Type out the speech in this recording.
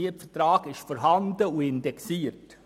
Ein Mietvertrag ist vorhanden und indexiert.